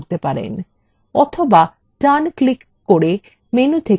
অথবা ডান click করে menu থেকে paste নির্বাচন করতে পারেন